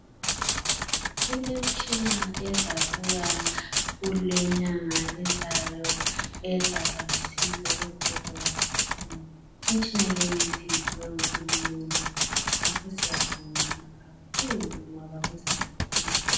Kulemitshina ezabuya kulenyanga ezayo ezaba lusizo ezibhedlela zethu. Imtshini leyi siyiphiwe nguhulumende ngakho siyabonga kakhulu ngoba kuzasisiza.